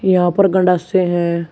यहां पर गंडासे हैं।